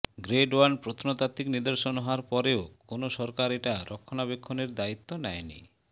grade one প্রত্নতাত্ত্বিক নিদর্শন হওয়ার পরেও কোন সরকার এটা রক্ষণাবেক্ষণের দায়িত্ব নেয় নি